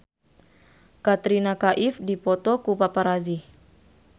Katrina Kaif dipoto ku paparazi